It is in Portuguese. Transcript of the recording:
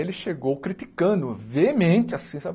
Ele chegou criticando veemente assim, sabe?